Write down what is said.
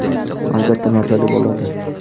Albatta, mazali bo‘ladi.